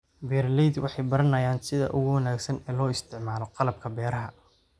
Beeraleydu waxay baranayaan sida ugu wanaagsan ee loo isticmaalo qalabka beeraha.